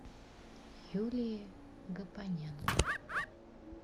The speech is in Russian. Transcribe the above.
юлией гапоненко